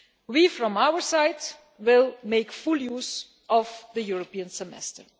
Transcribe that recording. We, from our side, will make full use of the European Semester.